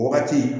O wagati